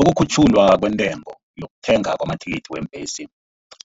Ukukhutjhulwa kwentengo yokuthengwa kwamathikithi weembhesi